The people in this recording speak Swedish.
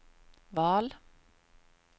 val